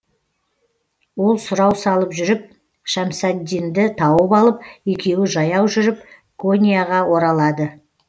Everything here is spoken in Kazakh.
ол сұрау салып жүріп шәмсаддинді тауып алып екеуі жаяу жүріп коньяға оралады